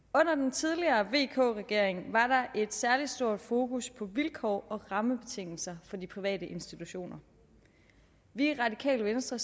tidligere vk regering var der et særlig stort fokus på vilkår og rammebetingelser for de private institutioner vi er i radikale venstre